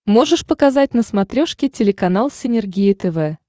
можешь показать на смотрешке телеканал синергия тв